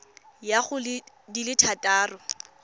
ya go di le thataro